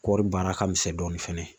Kɔɔri baara ka misɛn dɔɔni fɛnɛ